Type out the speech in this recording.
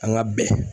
An ga bɛn